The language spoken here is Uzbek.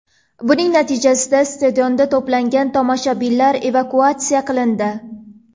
Buning natijasida stadionda to‘plangan tomoshabinlar evakuatsiya qilindi.